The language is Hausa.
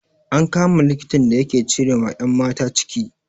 An kama likitan da yake cire ma 'yan mata ciki.